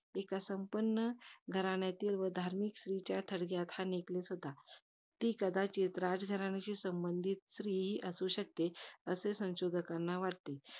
एका संपन्न घराण्यातील व धार्मिक स्त्रियांच्या थडग्यात हा neckless होता. ती राजघराण्याशी संबंधित स्त्री ही असू शकते. असे संशोधकांना वाटते.